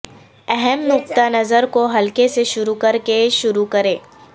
اہم نقطہ نظر کو ہلکے سے شروع کرکے شروع کریں